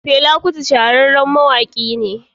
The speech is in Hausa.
Fela Kuti shahararren mawaki ne.